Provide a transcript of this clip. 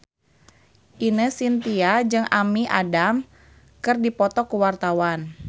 Ine Shintya jeung Amy Adams keur dipoto ku wartawan